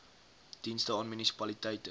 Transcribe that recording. dienste aan munisipaliteite